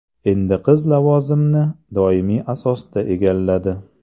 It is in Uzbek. Endi qiz lavozimni doimiy asosda egalladi.